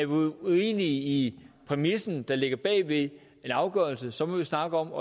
uenige i præmissen der ligger bag ved en afgørelse så må vi snakke om